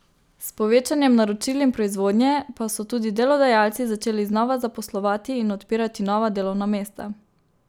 S povečanjem naročil in proizvodnje pa so tudi delodajalci začeli znova zaposlovati in odpirati nova delovna mesta.